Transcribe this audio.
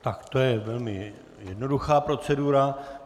Tak to je velmi jednoduchá procedura.